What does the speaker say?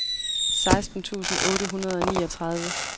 seksten tusind otte hundrede og niogtredive